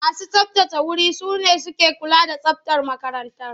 Masu tsabtace wuri su ne suke kula da tsabtar makarantar.